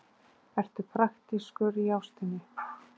Ertu praktískur í ástinni?